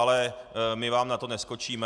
Ale my vám na to neskočíme.